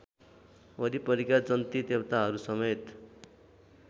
वरिपरिका जन्ती देवताहरूसमेत